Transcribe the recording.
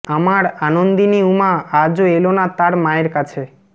আমার আনন্দিনী উমা আজও এল না তার মায়ের কাছে